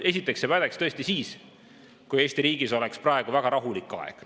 Esiteks see pädeks tõesti siis, kui Eesti riigis oleks praegu väga rahulik aeg.